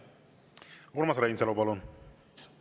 Urmas Reinsalu, palun!